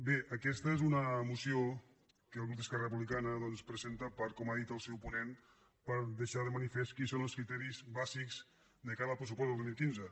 bé aquesta és una moció que el grup d’esquer·ra republicana doncs presenta per com ha dit el seu ponent deixar de manifest quins són els criteris bà·sics de cara al pressupost del dos mil quinze